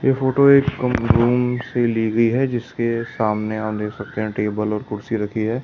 ये फोटो एक रूम से ली गई है जिसके सामने आप देख सकते हैं टेबल और कुर्सी रखी है ।